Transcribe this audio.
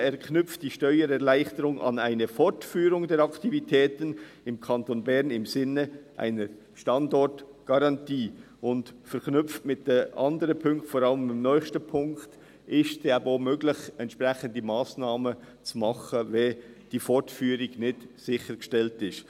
«Er knüpft die Steuererleichterung an eine Fortführung der Aktivitäten im Kanton Bern im Sinne einer Standortgarantie» Verknüpft mit den anderen Punkten, vor allem dem nächsten Punkt, ist es eben auch möglich, entsprechende Massnahmen zu ergreifen, wenn diese Fortführung nicht sichergestellt ist.